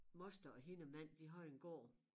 Moster og hendes mand de har jo en gård